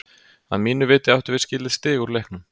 Að mínu viti áttum við skilið stig út úr leiknum.